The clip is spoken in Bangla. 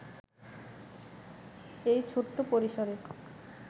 এই ছোট্ট পরিসরে